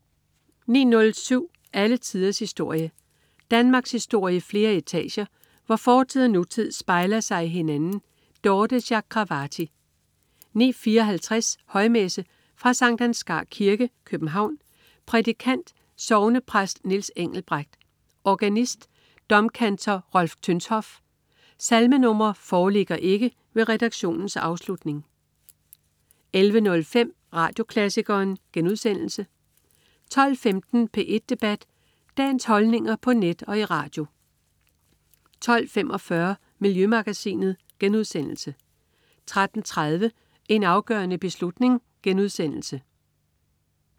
09.07 Alle tiders historie. Danmarkshistorie i flere etager, hvor fortid og nutid spejler sig i hinanden. Dorthe Chakravarty 09.54 Højmesse. Fra Skt. Ansgar Kirke, København. Prædikant: Sognepræst Niels Engelbrecht. Organist: Domkantor Rolf Tönshoff. Salmenr. foreligger ikke ved redaktionens afslutning 11.05 Radioklassikeren* 12.15 P1 Debat. Dagens holdninger på net og i radio 12.45 Miljømagasinet* 13.30 En afgørende beslutning*